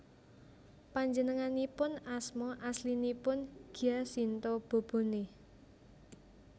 Panjenenganipun asma aslinipun Giacinto Bobone